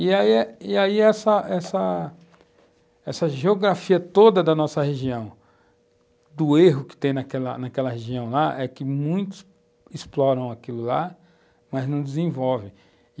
E aí e aí essa essa geografia toda da nossa região, do erro que tem naquela naquela região lá, é que muitos exploram aquilo lá, mas não desenvolvem.